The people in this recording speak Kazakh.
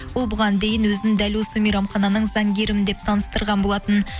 ол бұған дейін өзінің дәл осы мейрамхананың заңгерімін деп таныстырған болатын